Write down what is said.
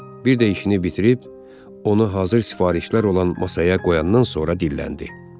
Bir də işini bitirib, onu hazır sifarişlər olan masaya qoyandan sonra dilləndi.